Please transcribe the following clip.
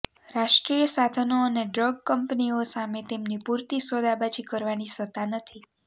રાષ્ટ્રીય સાધનો અને ડ્રગ કંપનીઓ સામે તેમની પૂરતી સોદાબાજી કરવાની સત્તા નથી